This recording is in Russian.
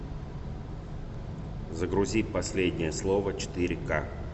загрузи последнее слово четыре ка